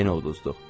yenə uduzduq.